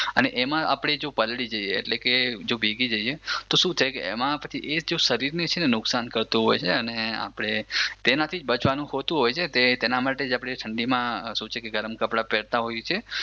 અને એમાં આપણે જો પલળી જો જઈએ એટલે કે ભીગી જઈએ તો શું થાય કે શરીરને નુકસાન થતું હોય છે અને આપણે તેનાથી જ બચવાનું હોતું હોય છે તેના માટે જ આપણે ઠંડીમાં શું કે છે ગરમ કપડાં પહેરતા હોઈએ છે